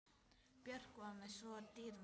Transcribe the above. Björk var mér svo dýrmæt.